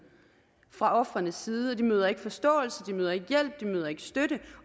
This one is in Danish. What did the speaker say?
fra ofrenes side de møder ikke forståelse de møder ikke hjælp de møder ikke støtte